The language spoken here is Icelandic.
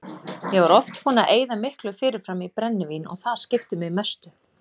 Ég var oft búinn að eyða miklu fyrirfram í brennivín og það skipti mig mestu.